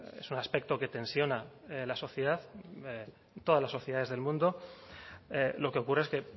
es un aspecto que tensiona la sociedad todas las sociedades del mundo lo que ocurre es que